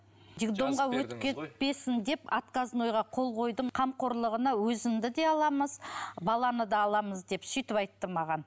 деп отказнойға қол қойдым қамқорлығына өзіңді де аламыз баланы да аламыз деп сөйтіп айтты маған